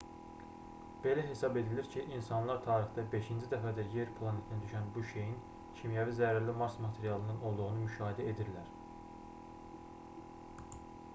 belə hesab edilir ki insanlar tarixdə beşinci dəfədir yer planetinə düşən bu şeyin kimyəvi zərərli mars materialından olduğunu müşahidə edirlər